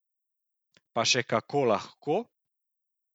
Pa še kako lahko!